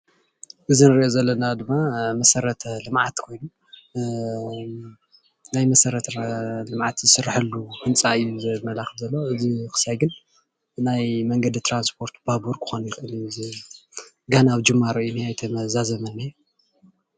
እዚ እንሪኦ ዘለና ድማ መሰረተ ልምዓት ናይ መሰረተ ልምዓት ዝስረሓሉ ህንፃ እዩ፡፡ እዚ ዘመላክት ብናይ መንገዲ ትራንስፖር ባቡር ምኳኑ ገና ኣብ ጅማሮ እዩ ዝነሄ ኣይተዛዘመን ዝንሄ